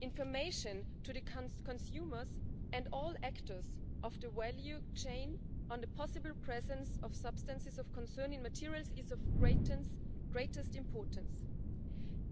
Information to the consumers and all actors in the value chain on the possible presence of substances of concern in materials is of greatest importance.